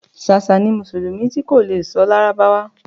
Ṣàṣà ni mùsùlùmí ti kò le sọ lárábáwá